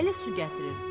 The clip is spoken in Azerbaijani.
Əli su gətirir.